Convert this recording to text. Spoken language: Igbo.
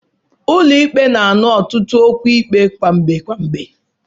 Ụlọ ikpe na-anọ ọtụtụ okwu ikpe gwamgbe gwamgbe.